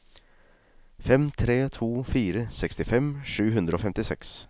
fem tre to fire sekstifem sju hundre og femtiseks